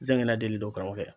Zɛgɛnɛ dili do karamɔgɔkɛ